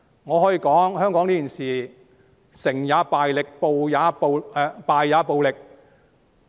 我可以說，香港這件事是"成也暴力、敗也暴力"。